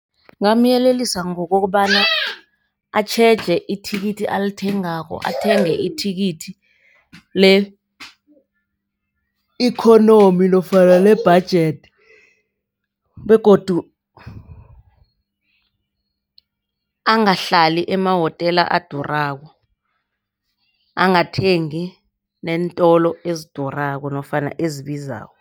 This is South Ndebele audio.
Ngingamyelelisa ngokobana atjheje ithikithi alithengako. Athenge ithikithi le-economy nofana le-budget begodu angahlali emahotela adurako. Angathengi neentolo ezidurako nofana ezibizako.